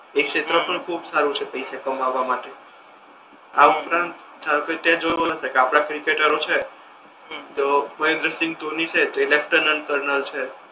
હમ એ ક્ષેત્ર પણ ખૂબ સારુ છે પૈસા કમાવા માટે આ ઉપરાંત ધારો કે તે જોયુ હસે કે આપડા ક્રીકેટરો છે હમ તો મદેનદ્ર સિંઘ ધોની છે છે.